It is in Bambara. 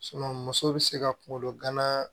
muso bɛ se ka kungolo gana